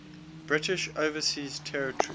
british overseas territory